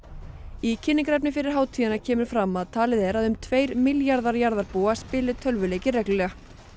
í kynningarefni fyrir hátíðina kemur fram að talið er að um tveir milljarðar jarðarbúa spili tölvuleiki reglulega